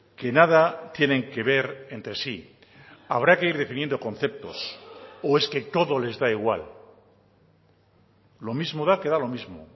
que nada tienen que ver entre sí habrá que ir definiendo conceptos o es que todo les da igual lo mismo da que da lo mismo